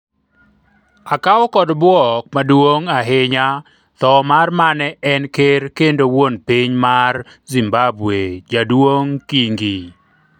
akawo kod bwok maduong' ahinya tho mar mane en ker kendo wuon piny mar Zimbabwe Jaduong Kingi